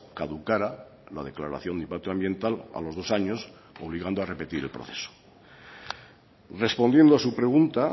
caducara la declaración de impacto ambiental a los dos años obligando a repetir el proceso respondiendo a su pregunta